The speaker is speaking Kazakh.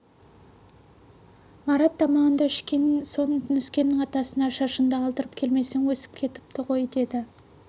марат тамағыңды ішкен соң нүскеннің атасына шашыңды алдырып келмесең өсіп кетіпті ғой деді